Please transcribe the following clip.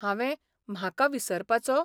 हांवें 'म्हाका 'विसरपाचो?